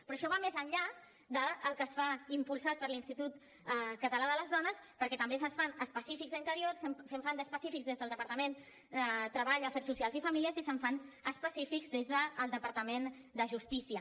però això va més enllà del que es fa impulsat per l’institut català de les dones perquè també se’n fan d’específics a interior se’n fan d’específics des del departament de treball afers socials i famílies i se’n fan d’específics des del departament de justícia